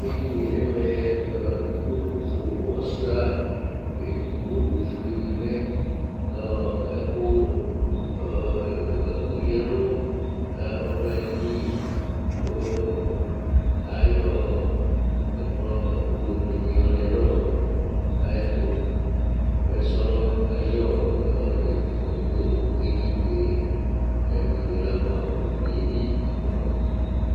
Edini ye nʋ ɛmɛ ikpoku ko ɔsʋia Ɛdigbo ɔfʋe di lɛ kʋ ɛkʋ ya ɛlu ɔdu ayìlí kʋ ayɔ ɛkplɔ yɔ lɛ nʋ ayʋɛtu Ɛsɔlɔ ayʋ tɛkʋɛ bi du edini ye Edini ye labʋɛ amu, ʋdʋnu ye bi labʋɛ amu